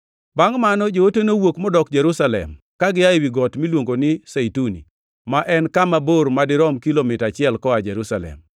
Bangʼ mano joote nowuok modok Jerusalem, ka gia ewi got miluongo ni Zeituni, ma en kama bor madirom kilomita achiel koa Jerusalem.